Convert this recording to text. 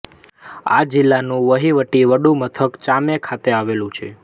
આ જિલ્લાનું વહીવટી વડું મથક ચામે ખાતે આવેલું છે